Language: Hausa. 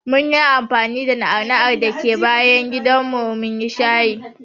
Munyi anfani da na'ana'ar da take bayan gidanmu munyi shayi.